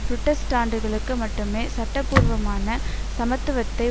புரட்டஸ்டாண்டுகளுக்கு மட்டுமே சட்டபூர்வமான சமத்துவத்தை